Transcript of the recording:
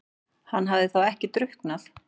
Hann hafði þá ekki drukknað?